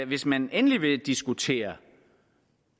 hvis man endelig vil diskutere